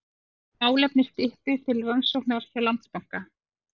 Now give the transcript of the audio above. Málefni Styttu til rannsóknar hjá Landsbanka